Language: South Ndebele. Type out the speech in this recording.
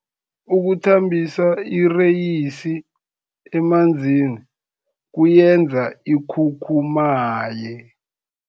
Ukuthambisa ireyisi emanzini kuyenza ikhukhumaye.